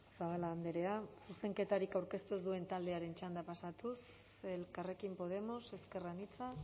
zabala andrea zuzenketarik aurkeztu ez duen taldearen txanda pasatuz elkarrekin podemos ezker anitza